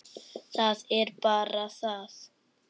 Það er bara það.